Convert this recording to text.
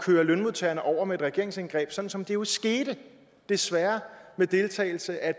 køre lønmodtagerne over med et regeringsindgreb sådan som det jo skete desværre med deltagelse af